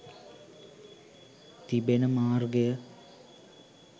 තිබෙන මාර්ගය